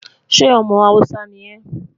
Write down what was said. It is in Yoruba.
ṣé omọ Hausa ní é?